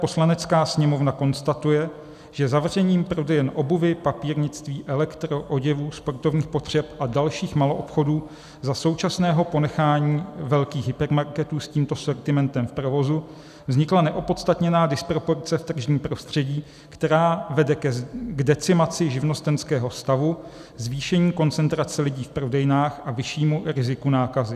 Poslanecká sněmovna konstatuje, že zavřením prodejem obuvi, papírnictví, elektro, oděvů, sportovních potřeb a dalších maloobchodů za současného ponechání velkých hypermarketů s tímto sortimentem v provozu vznikla neopodstatněná disproporce v tržním prostředí, která vede k decimaci živnostenského stavu, zvýšení koncentrace lidí v prodejnách a vyššímu riziku nákazy.